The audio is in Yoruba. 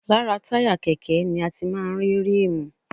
Lára táyà kẹ̀kẹ́ ni a ti máa ń rí ríìmù